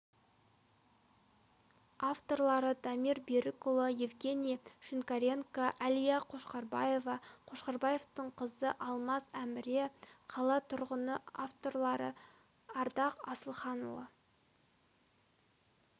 авторлары дамир берікұлы евгений шинкаренко әлия қошқарбаева қошқарбаевтың қызы алмаз әміре қала тұрғыны авторлары ардақ асылханұлы